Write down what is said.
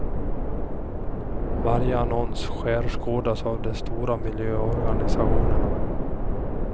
Varje annons skärskådas av de stora miljöorganisationerna.